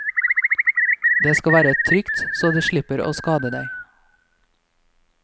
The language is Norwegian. Det skal være trygt så du slipper å skade deg.